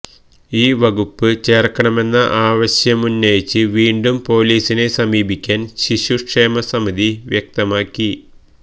ഈ വകുപ്പ് ചേര്ക്കണമെന്ന ആവശ്യമുന്നയിച്ച് വീണ്ടും പൊലീസിനെ സമീപിക്കാന് ശിശുക്ഷേമ സമിതി വ്യക്തമാക്കി